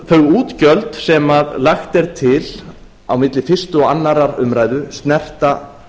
þau útgjöld sem lagt er til á milli fyrstu og annarrar umræðu snerta